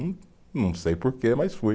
Não, não sei porquê, mas fui.